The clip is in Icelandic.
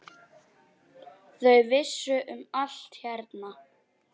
Þau vissu um allt hérna.